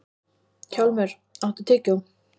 Hjálmur, áttu tyggjó?